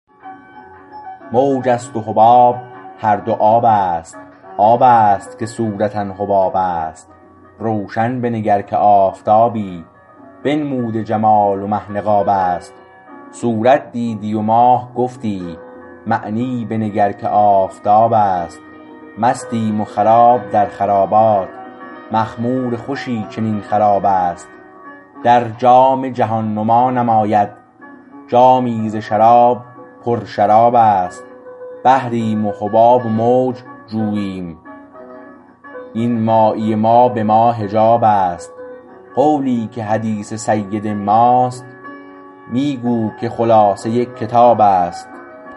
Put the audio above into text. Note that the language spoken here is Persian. موج است و حباب هر دو آب است آبست که صورتا حباب است روشن بنگر که آفتابی بنموده جمال و مه نقاب است صورت دیدی و ماه گفتی معنی بنگر که آفتاب است مستیم و خراب در خرابات معمور خوشی چنین خراب است در جام جهان نما نماید جامی ز شراب پر شراب است بحریم و حباب و موج جوییم این مایی ما به ما حجاب است قولی که حدیث سید ما است می گو که خلاصه کتاب است